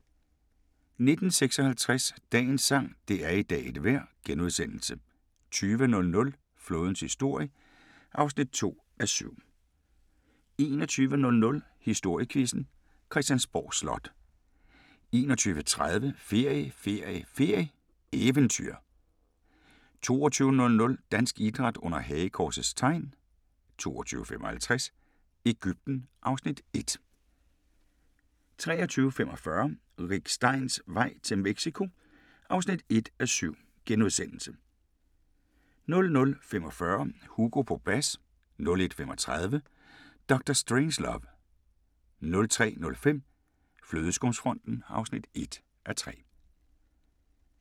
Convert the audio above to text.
19:56: Dagens sang: Det er i dag et vejr * 20:00: Flådens historie (2:7) 21:00: Historiequizzen: Christiansborg Slot 21:30: Ferie, ferie, ferie: Eventyr 22:00: Dansk Idræt under hagekorsets tegn 22:55: Egypten (Afs. 1) 23:45: Rick Steins vej til Mexico (1:7)* 00:45: Hugo på bas 01:35: Dr. Strangelove 03:05: Flødeskumsfronten (1:3)